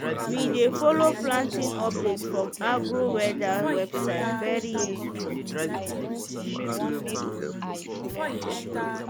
we dey follow planting update from agro-weather website very useful.